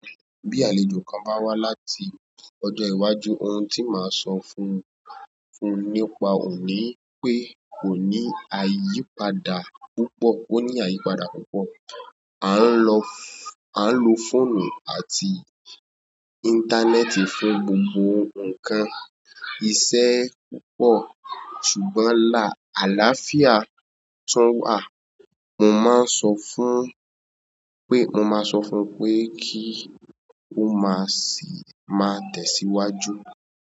Bí àlejò kan bá wá láti ọjọ́ iwájú ohun tí màá sọ fún nípa òní pé kò ní àyípadà púpọ̀ ó ní àyípadà púpọ̀. A ń lo-a ń lo fóònù àti íńtánẹ́ẹ̀tì fún gbogbo ǹkan, iṣẹ́ púpọ̀ ṣùgbọ́n álàáfíà tún wà. Mo máa ń sọ fún un pé, mo máa sọ fún un pé kí ó má sì má tẹ̀síwájú.